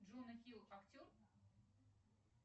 джона хилл актер